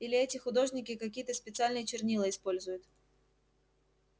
или эти художники какие-то специальные чернила используют